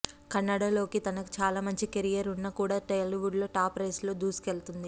కన్నడ లో తనకి చాలా మంచి కెరీర్ ఉన్నా కూడా టాలీవుడ్ లో టాప్ రేస్ లో దూసుకెళ్తుంది